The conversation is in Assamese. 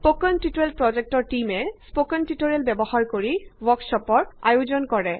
স্পকেন টিউটৰিয়েল প্ৰজেক্ট টীমে স্পকেন টিউটৰিয়েল ব্যৱহাৰ কৰি ৱৰ্কশ্বপৰ আয়োজন কৰে